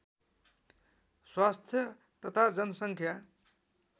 स्वास्थ्य तथा जनसङ्ख्या